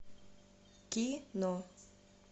кино